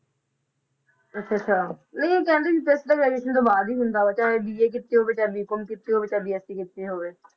ਅੱਛਾ ਅੱਛਾ ਨਹੀਂ ਕਹਿੰਦੇ ਸੀ test ਤਾਂ graduation ਤੋਂ ਬਾਅਦ ਹੀ ਹੁੰਦਾ ਵਾ ਚਾਹੇ BA ਕੀਤੀ ਹੋਵੇ, ਚਾਹੇ B com ਕੀਤੀ ਹੋਵੇ, ਚਾਹੇ BSC ਕੀਤੀ ਹੋਵੇ।